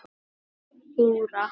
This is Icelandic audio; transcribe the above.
Þura